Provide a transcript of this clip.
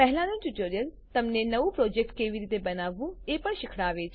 પહેલાનું ટ્યુટોરીયલ તમને નવું પ્રોજેક્ટ કેવી રીતે બનાવવું એ પણ શીખવાડે છે